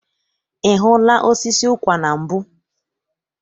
I hụla osisi ụkwa na mbụ?